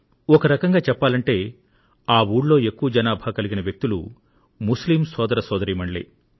ఒక రకంగా చెప్పాలంటే ఆ ఊళ్లో ఎక్కువ జనాభా కలిగిన వ్యక్తులు ముస్లిం సోదర సోదరీమణులే